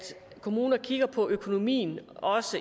kommuner også kigger på økonomien